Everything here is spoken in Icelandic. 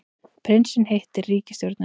Prinsinn hittir ríkisstjórnina